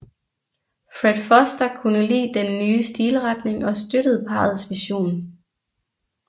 Fred Foster kunne lide den nye stilretning og støttede parrets vision